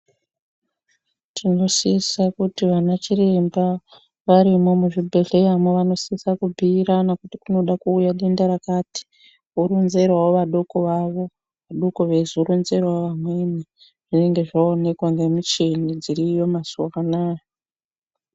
Tinosisa kuti ana chiremba varimo muzvibhedhlera mavo vanosisa kubhiirana kuti kunoda kuuya denda rakati voronzerao vadoko vavo vadoko veizoronzerao vamweni zvinenge zzaonekwa nemichini dziriyo mazuwa anaya.